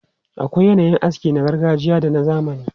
Akwai yanayin aski na gargajiya da na zamani.